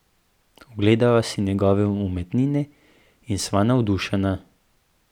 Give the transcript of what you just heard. Ogledava si njegove umetnine in sva navdušena.